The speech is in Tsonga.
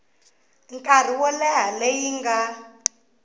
nkarhi wo leha leyi nga